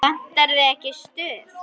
Vantar þig ekki stuð?